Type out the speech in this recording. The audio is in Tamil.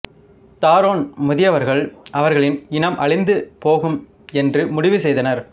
தாரோன் மூதியவர்கள் அவர்களின் இனம் அழிந்து போகும் என்று முடிவு செய்தனர்